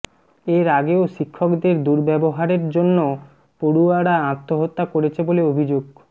এর আগেও শিক্ষকদের দুর্ব্যবহারের জন্য পড়ুয়ারা আত্মহত্যা করেছে বলে অভিযোগ